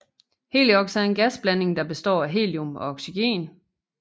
Heliox er en gasblanding der består af helium og oxygen